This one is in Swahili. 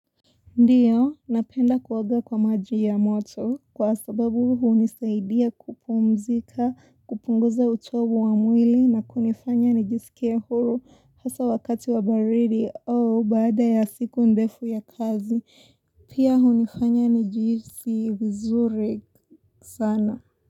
Ndiyo, napenda kuoga kwa maji ya moto kwa sababu hunisaidia kupumzika, kupunguza uchovu wa mwili na kunifanya nijisikia huru hasa wakati wa baridi au baada ya siku ndefu ya kazi. Pia hunifanya nijihisi vizuri sana.